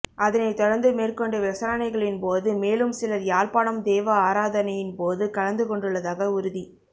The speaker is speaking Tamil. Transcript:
அதனை தொடர்ந்து மேற்கொண்ட விசாரணைகளின் போது மேலும் சிலர் யாழ்ப்பாணம் தேவ ஆராதனையின் போது கலந்து கொண்டுள்ளதாக உறுதி